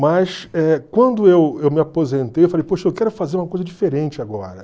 Mas eh quando eu eu me aposentei, eu falei, poxa, eu quero fazer uma coisa diferente agora.